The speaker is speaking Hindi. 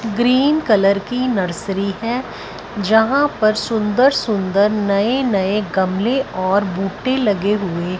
ग्रीन कलर की नर्सरी है जहां पर सुंदर सुंदर नए नए गमले और बूटे लगे हुए--